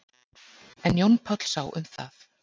En Jón Páll sá um það.